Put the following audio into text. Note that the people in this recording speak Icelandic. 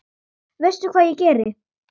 Veistu hvað ég geri?